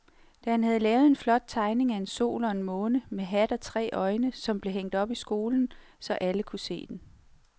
Dan havde lavet en flot tegning af en sol og en måne med hat og tre øjne, som blev hængt op i skolen, så alle kunne se den.